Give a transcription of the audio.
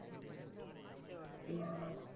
உம்